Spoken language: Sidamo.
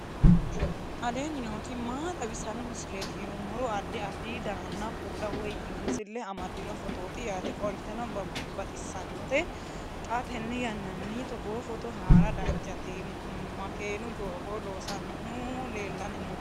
aleenni nooti maa xawisanno misileeti yinummoro addi addi dananna kuula woy biinsille amaddino footooti yaate qoltenno baxissannote xa tenne yannanni togoo footo haara danchate makeenu doogo loosannohu leellanni noooe